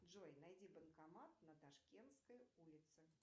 джой найди банкомат на ташкентской улице